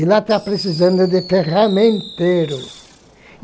E lá tá precisando de ferramenteiro.